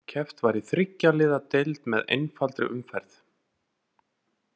Keppt var í þriggja liða deild með einfaldri umferð.